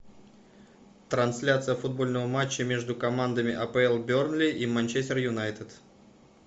трансляция футбольного матча между командами апл бернли и манчестер юнайтед